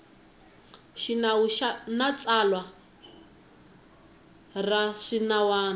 xinawu na tsalwa ra swinawana